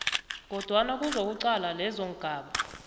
kodwana kuzokuqalwa lezongaba